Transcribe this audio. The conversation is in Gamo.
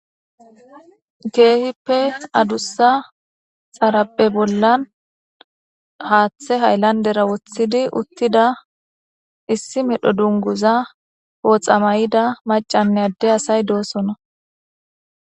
Kehipe addusa xariphe bollani hathe hayilanideta wothidi uttida issi medho dunuguza poxxa mayidda macca assayine ade assayi dossona.